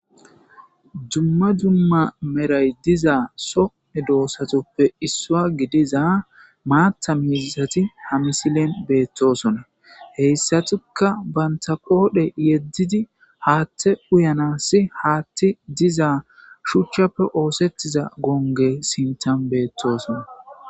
Jumma jumma meray diza soe doosatoppe issua gidiza maatta miiisati ha misilen beettosona heyssatuka banta qoodhe yeddidi haatte uyanassi haatti diza shuchchappe oosettiza gonge sintan beettosona